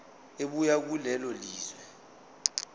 ebuya kulelo lizwe